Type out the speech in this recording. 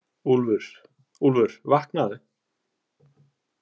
Úlfur, Úlfur vaknaðu.